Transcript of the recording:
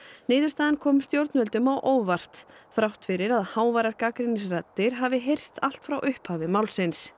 niðurstaðan kom stjórnvöldum á óvart þrátt fyrir að háværar gagnrýnisraddir hafi heyrst allt frá upphafi málsins